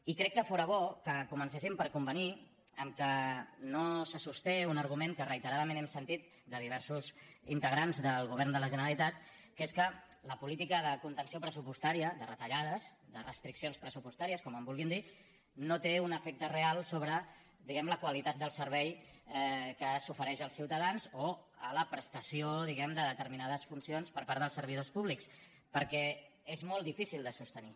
i crec que fóra bo que comencéssim per convenir que no se sosté un argument que reiteradament hem sentit de diversos integrants del govern de la generalitat que és que la política de contenció pressupostària de retallades de restriccions pressupostàries com en vulguin dir no té un efecte real sobre la qualitat del servei que s’ofereix als ciutadans o a la prestació diguem ne de determinades funcions per part dels servidors públics perquè és molt difícil de sostenir